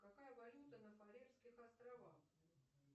какая валюта на фарерских островах